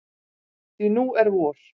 Því nú er vor.